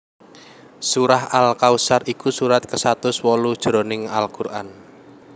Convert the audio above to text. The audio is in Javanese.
Surah Al Kausar iku surat kasatus wolu jroning al Qur an